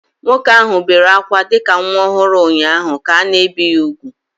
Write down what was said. Nwoke ahụ bere ákwá dị ka nwa ọhụrụ ụnyaahụ ka a na-ebi ya úgwù